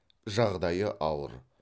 жағдайы ауыр